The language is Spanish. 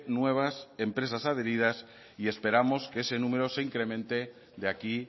nuevas empresas adheridas y esperando que ese número se incremente de aquí